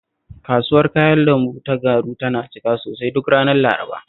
Kasuwar kayan lambu ta Garu tana cika sosai duk ranar Laraba